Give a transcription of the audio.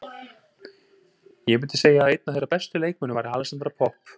Ég myndi segja að einn af þeirra bestu leikmönnum væri Alexandra Popp.